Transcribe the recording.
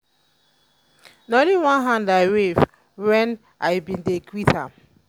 na only hand i wave wen i ben dey greet am.